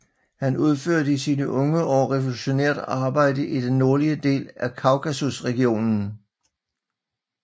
Han udførte i sine unge år revolutionært arbejde i den nordlige del af Kaukasusregionen